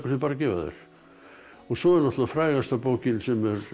bara gefa þær svo er það frægasta bókin sem